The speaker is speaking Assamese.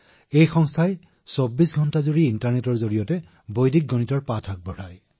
সেই সংগঠনটোৰ অধীনত আমি ইণ্টাৰনেটৰ জৰিয়তে ২৪ ঘণ্টাই বৈদিক গণিত শিকাওঁ মহোদয়